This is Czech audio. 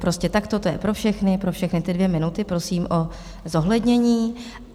Prostě takto to je pro všechny, pro všechny ty dvě minuty, prosím o zohlednění.